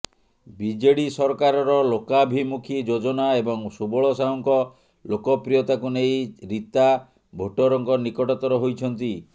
BJD ସରକାରର ଲୋକାଭିମୁଖି ଯୋଜନା ଏବଂ ସୁବଳ ସାହୁଙ୍କ ଲୋକପ୍ରିୟତାକୁ ନେଇ ରିତା ଭୋଟରଙ୍କ ନିକଟତର ହୋଇଛନ୍ତି